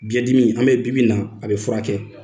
Biɲɛ dimi an bɛ bibi in na ,a bɛ furakɛ .